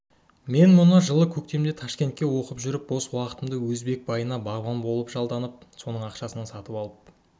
мен мұны жылы көктемде ташкентте оқып жүріп бос уақытымда өзбек байына бағбан болып жалданып соның ақшасына сатып алып